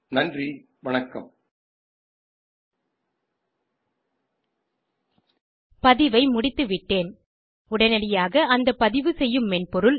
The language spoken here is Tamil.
நன்றி வணக்கம் பதிவை முடித்துவிட்டேன் உடனடியாக அந்த பதிவுசெய்யும் மென்பொருள்